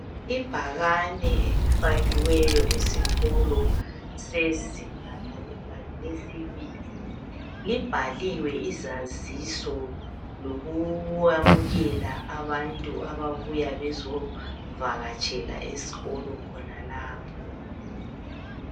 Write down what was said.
Ibhakani elifakiwe esikolo sezinga lesibili libhaliwe izaziso lokuyamukela abantu ababuya bezovakatshela esikolo khonalapha